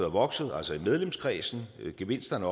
vokset altså i medlemskredsen gevinsterne